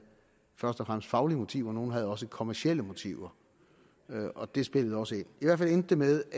først og fremmest faglige motiver nogle havde også kommercielle motiver og det spillede også ind i hvert fald endte det med